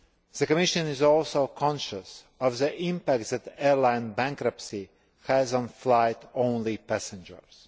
The Commission is also conscious of the impact that airline bankruptcy has on flight only passengers.